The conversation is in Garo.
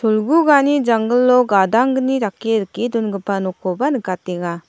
olgugani janggilo gadanggni dake rike dongipa nokkoba nikatenga.